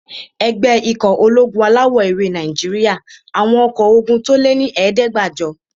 Ẹgbẹ́ ikọ̀ ológun alawọ̀-ewé Nàìjíríyà àwọn ọkọ́ ogun tó lé ní ẹ̀ẹ́dẹ́gbàjọ